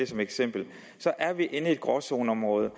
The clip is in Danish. som eksempel er vi inde i et gråzoneområde